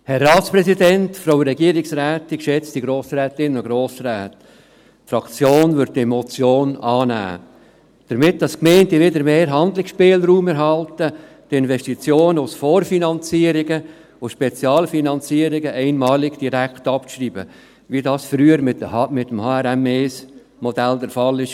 Die Fraktion wird diese Motion annehmen, damit die Gemeinden wieder mehr Handlungsspielraum erhalten, um die Investitionen aus Vorfinanzierung und Spezialfinanzierung einmalig direkt abzuschreiben, wie dies früher mit dem HRM1-Modell der Fall war.